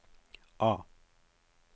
A